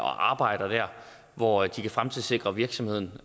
og arbejder der hvor de kan fremtidssikre virksomheden